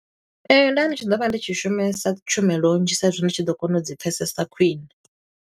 Ee, nda ndi tshi ḓo vha ndi tshi shumisa tshumelo nnzhi sa i zwi ndi tshi ḓo kona u dzi pfesesa khwiṋe.